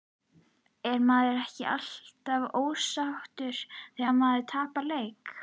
Er maður ekki alltaf ósáttur þegar maður tapar leik?